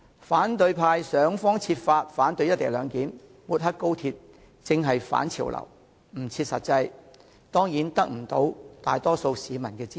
反對派議員想方設法反對"一地兩檢"安排，不惜抹黑高鐵，正是反潮流的做法，不切實際，自然未能得到大多數市民支持了。